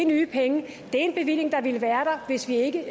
nye penge det er en bevilling der ikke ville være der hvis vi ikke